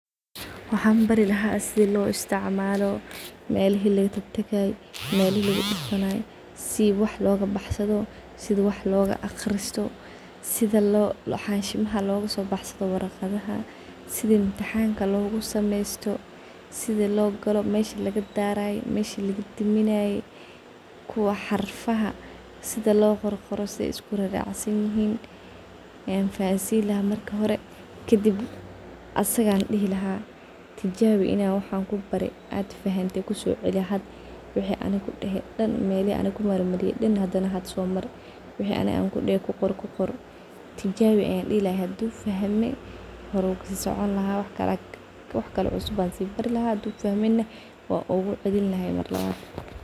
Waxan bari lahaa sida lo isticmalo, melahi lagatagay, melahi lagudufanay, si wax logabaxsado, sida wax loga aqrsito, sida xansida logosobaxsado, sidi mtixanka logusameysto, sida logalo , mesha lagadaray, meshi lagadaminay, kuwa xarfaha sida loqorqoro. An fahansin lahaa marka hore arimahas losameyni lada , sida wax loga barani lahaa, sida lohagajin lahaa iyo arima kale badhan ile hadu fahme wansocon lahaa , hadu fahmin na wan ogucelin lahaa.